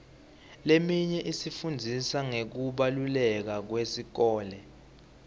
leminye ifundzisa ngekubaluleka kwesikole